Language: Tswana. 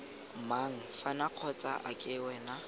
mang fano kgotsa ake wena